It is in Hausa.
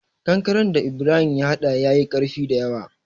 Kankaren da Ibrahim ya hada ya yi ƙarfi dayawa.